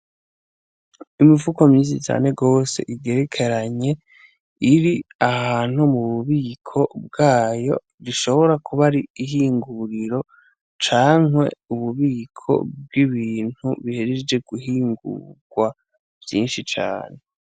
Imifuko myinshi cane gwose igerekeranye iri ahantu mububiko bwayo, rishobora kuba ari ihinguriro cankwe ububiko bw'ibintu bihejeje guhingugwa vyinshi cane.